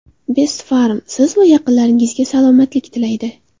Best Pharm - Siz va yaqinlaringizga salomatlik tilaydi.